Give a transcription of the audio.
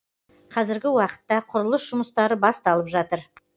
қазіргі уақытта құрылыс жұмыстары басталып жатыр